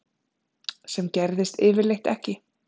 Sem gerðist yfirleitt ekki.